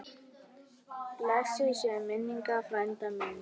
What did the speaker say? Blessuð sé minning frænda míns.